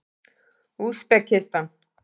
Úsbekistan